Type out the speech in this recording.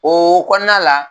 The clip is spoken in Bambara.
O kɔnɔna la.